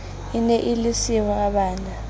e ne e le sehwabana